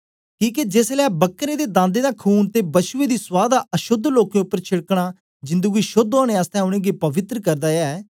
किके जेसलै बकरें ते दांदें दा खून ते ब्छुए दी सुआ दा अशोद्ध लोकें उपर छेड़कना जिंदु गी शोद्ध ओनें आसतै उनेंगी पवित्र करदा ऐ